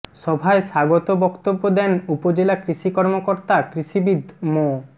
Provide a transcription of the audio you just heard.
সভায় স্বাগত বক্তব্য দেন উপজেলা কৃষি কর্মকর্তা কৃষিবিদ মো